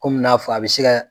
Kɔmi n'a fɔ a be se gaa